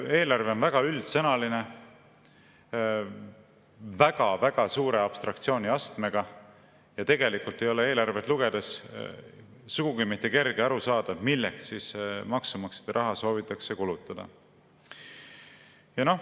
Eelarve on väga üldsõnaline, väga-väga suure abstraktsiooniastmega ja tegelikult ei ole eelarvet lugedes sugugi mitte kerge aru saada, milleks maksumaksjate raha soovitakse kulutada.